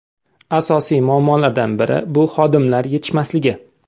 Asosiy muammolardan biri bu xodimlar yetishmasligi.